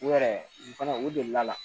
U yɛrɛ u fana u delila la